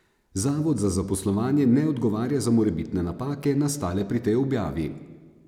Zavod za zaposlovanje ne odgovarja za morebitne napake, nastale pri tej objavi.